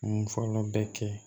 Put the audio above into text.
N fɔlɔ bɛ kɛ